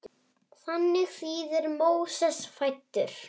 Þannig þýðir Móses fæddur.